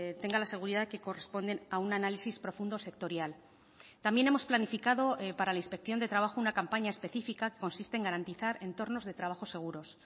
tenga la seguridad que corresponden a un análisis profundo sectorial también hemos planificado para la inspección de trabajo una campaña específica que consiste en garantizar entornos de trabajos seguros